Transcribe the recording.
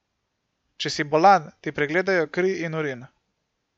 Če si bolan, ti pregledajo kri in urin.